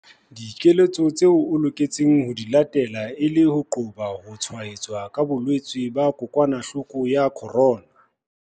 Dikeletso tseo o lokelang ho di latela e le ho qoba ho tshwaetswa ke bolwetse ba kokwanahloko ya corona.